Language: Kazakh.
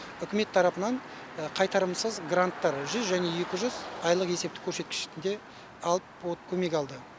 үкімет тарапынан қайтарымсыз гранттар жүз және екі жүз айлық есептік көрсеткішінде алып көмек алды